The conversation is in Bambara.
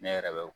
Ne yɛrɛ bɛ